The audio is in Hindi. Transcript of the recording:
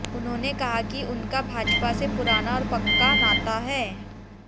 उन्होंने कहा कि उनका भाजपा से पुराना और पक्का नाता है